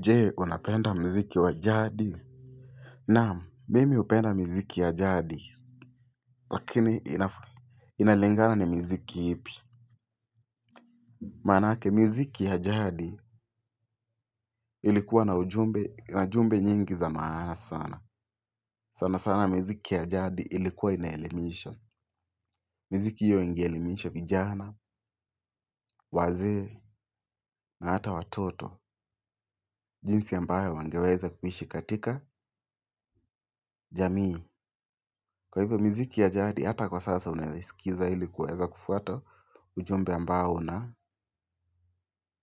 Je, unapenda mziki wa jadi. Naam, mimi hupenda miziki ya jadi. Lakini, inalingana ni miziki ipi. Manake, miziki ya jadi ilikuwa na ujumbe, na jumbe nyingi za maana sana. Sana sana, miziki ya jadi ilikuwa inaelimisha. Miziki hiyo inge elimisha vijana, wazee, na hata watoto. Jinsi ambayo wangeweza kuishi katika jamii. Kwa hivyo miziki ya jadi hata kwa sasa unaeisikiza ili kuweza kufuata ujumbe ambao una